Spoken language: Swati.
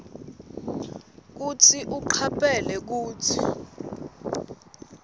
kutsi ucaphele kutsi